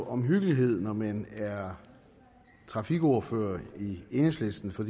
omhyggelighed når man er trafikordfører i enhedslisten for